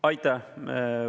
Aitäh!